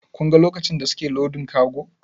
Kin ga lokacin da suke lodin kago?